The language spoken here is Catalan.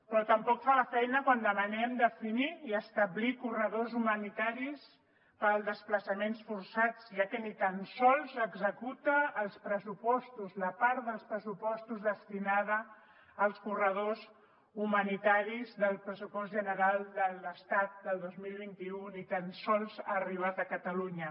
però tampoc fa la feina quan demanem definir i establir corredors humanitaris per als desplaçaments forçats ja que ni tan sols executa els pressupostos la part dels pressupostos destinada als corredors humanitaris del pressupost general de l’estat del dos mil vint u ni tan sols ha arribat a catalunya